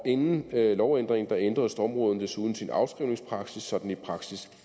inden lovændringen ændrede stormrådet desuden sin afskrivningspraksis så den i praksis